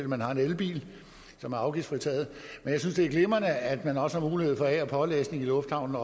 man har en elbil som er afgiftsfritaget men jeg synes det er glimrende at man også har mulighed for af og pålæsning i lufthavnen